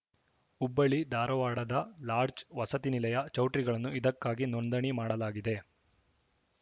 ಹುಬ್ಬಳ್ಳಿ ಧಾರವಾಡದ ಲಾಡ್ಜ್‌ ವಸತಿ ನಿಲಯ ಚೌಟ್ರಿಗಳನ್ನು ಇದಕ್ಕಾಗಿ ನೋಂದಣಿ ಮಾಡಲಾಗಿದೆ